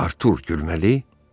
Artur gülməli?